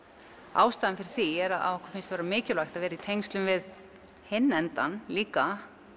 ástæðan fyrir því er að okkur finnst mikilvægt að vera líka í tengslum við hinn endann líka